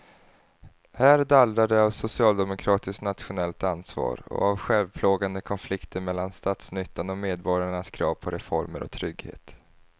Här dallrar det av socialdemokratiskt nationellt ansvar och av självplågande konflikter mellan statsnyttan och medborgarnas krav på reformer och trygghet.